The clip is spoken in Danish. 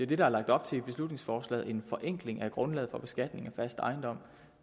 det der er lagt op til i beslutningsforslaget en forenkling af grundlaget for beskatning af fast ejendom